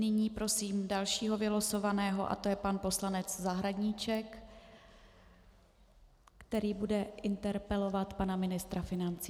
Nyní prosím dalšího vylosovaného a to je pan poslanec Zahradníček, který bude interpelovat pana ministra financí.